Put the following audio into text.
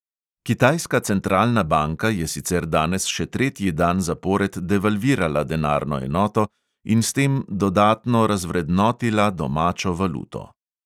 Kitajska centralna banka je sicer danes še tretji dan zapored devalvirala denarno enoto in s tem dodatno razvrednotila domačo valuto.